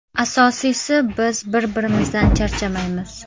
Asosiysi – biz bir-birimizdan charchamaymiz.